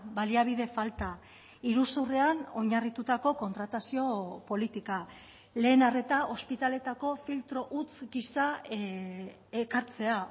baliabide falta iruzurrean oinarritutako kontratazio politika lehen arreta ospitaleetako filtro huts gisa ekartzea